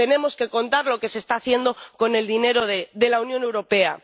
Tenemos que contar lo que se está haciendo con el dinero de la Unión Europea.